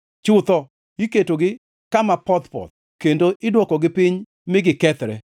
Chutho iketogi kama poth-poth, kendo idwokogi piny mi gikethre.